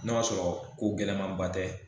N'o y'a sɔrɔ ko gɛlɛmaba tɛ